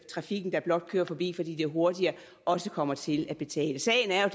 trafikken der blot kører forbi fordi det er hurtigere også kommer til at betale sagen er jo